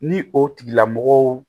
Ni o tigilamɔgɔw